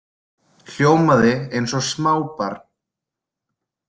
Hljómaði eins og smábarn.